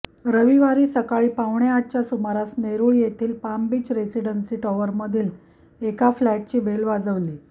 रविवारी सकाळी पावणे आठच्या सुमारास नेरुळ येथील पाम बीच रेसिडेन्सी टॉवरमधील एका फ्लॅटची बेल वाजली